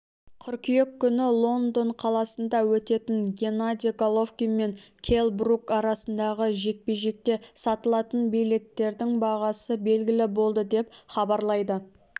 қыркүйек күні лондон қаласында өтетін геннадий головкин мен келл брук арасындағы жекпе-жекте сатылатын билеттердің бағасы белгілі болды деп хабарлайды